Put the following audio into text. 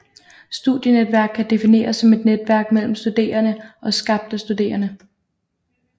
Studienetværk kan defineres som et netværk mellem studerende og skabt af studerende